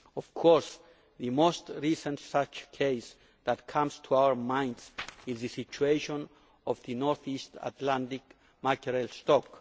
Of course the most recent such case that comes to our minds is the situation of the north east Atlantic mackerel stock.